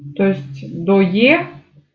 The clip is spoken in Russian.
то есть до е